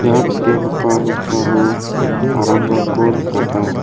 ia nikenggipa noksao aramrangko nikata.